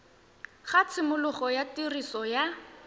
ga tshimologo ya tiriso ya